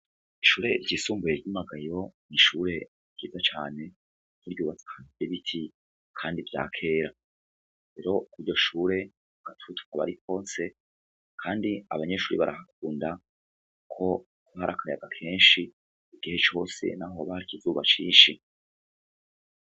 Ishure ryisumbuye ryimagayo m'ishure ryiza cane nuryubatsan ye biti, kandi vya kera ero kuryo shure gatutko bari kose, kandi abanyeshuri barahakunda ko kuaharakaryaga kenshi igihe cose na ho ba kizuba cinshi.